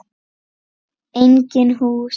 Engin hús.